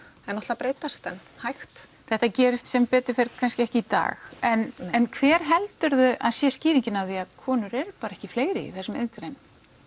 að breytast en hægt þetta gerist sem betur fer ekki í dag en en hver helduru að sé skýringin á því að konur eru bara ekki fleiri í þessum iðngreinum